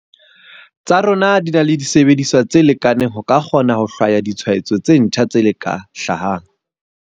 Tsa rona di na le disebediswa tse lekaneng ho ka kgona ho hlwaya ditshwaetso tse ntjha tse ka hlahang.